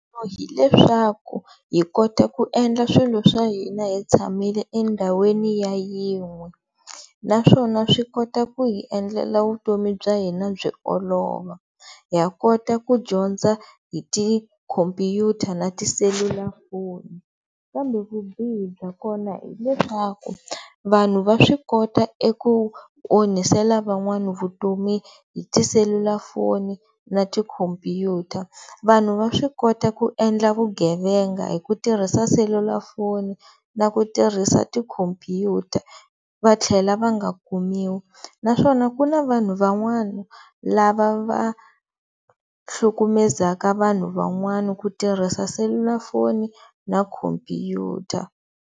Hi leswaku hi kota ku endla swilo swa hina hi tshamile endhawini ya yin'we, naswona swi kota ku hi endlela vutomi bya hina byi olova. Ha kota ku dyondza hi tikhomphyuta na tiselulafoni kambe vubihi bya kona hileswaku vanhu va swi kota eku onhisela van'wani vutomi hi tiselulafoni na tikhomphyuta, vanhu va swi kota ku endla vugevenga hi ku tirhisa selulafoni na ku tirhisa tikhomphyuta va tlhela va nga kumiwi naswona ku na vanhu van'wana lava va hlukumezaka vanhu van'wani hi ku tirhisa selulafoni na khomphyuta.